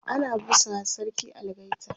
ana busawa sarki algaita